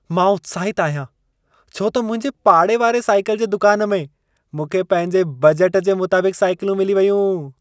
मां उत्साहितु आहियां छो त मुंहिंजे पाड़े वारे साइकल जे दुकान में मूंखे पंहिंजे बजट जे मुताबिक़ु साइकलूं मिली वयूं।